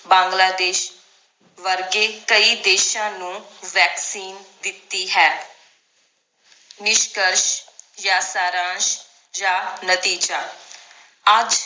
ਬਾਂਗਲਾਦੇਸ਼ ਵਰਗੇ ਕਈ ਦੇਸ਼ਾਂ ਨੂੰ vaccine ਦਿੱਤੀ ਹੈ ਨਿਸ਼ਕਸ਼ ਯਾਂ ਸਾਰਾਂਸ਼ ਯਾਂ ਨਤੀਜਾ ਅੱਜ